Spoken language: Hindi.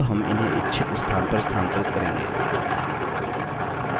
अब हम इन्हें इच्छित स्थान पर स्थानांतरित करेंगे